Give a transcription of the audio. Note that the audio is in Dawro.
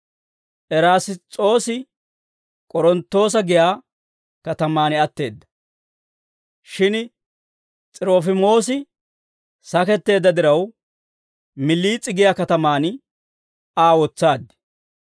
Erass's'oosi K'oronttoosa giyaa katamaan atteedda. Shin S'irofiimoosi saketteedda diraw, Miliis'e giyaa katamaan Aa wotsaad.